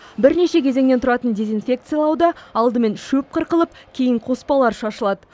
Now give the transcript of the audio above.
бірнеше кезеңнен тұратын дезинфекциялауда алдымен шөп қырқылып кейін қоспалар шашылады